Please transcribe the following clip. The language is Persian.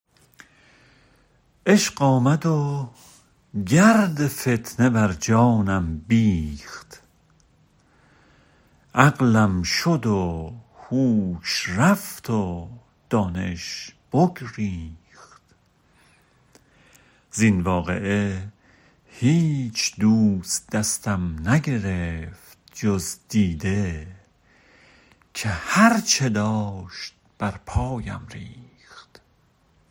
عشق آمد و گرد فتنه بر جانم بیخت عقلم شد و هوش رفت و دانش بگریخت زین واقعه هیچ دوست دستم نگرفت جز دیده که هر چه داشت بر پایم ریخت